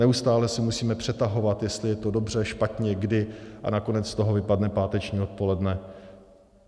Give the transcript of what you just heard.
Neustále se musíme přetahovat, jestli je to dobře, špatně, kdy, a nakonec z toho vypadne páteční odpoledne.